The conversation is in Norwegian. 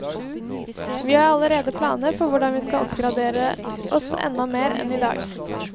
Vi har allerede planer for hvordan vi skal oppgradere oss enda mer enn i dag.